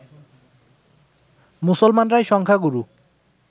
মুসলমানরাই সংখ্যাগুরু